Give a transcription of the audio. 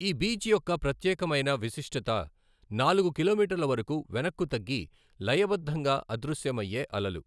ఈ బీచ్ యొక్క ప్రత్యేకమైన విశిష్టత నాలుగు కిలోమీటర్ల వరకు వెనక్కు తగ్గి లయబద్ధంగా అదృశ్యమయ్యే అలలు.